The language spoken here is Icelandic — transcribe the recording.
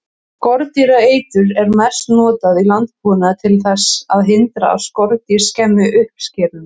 Skordýraeitur er mest notað í landbúnaði til þess að hindra að skordýr skemmi uppskeruna.